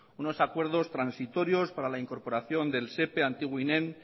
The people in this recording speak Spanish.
unos acuerdos transitorios para la incorporación del sepe antiguo inem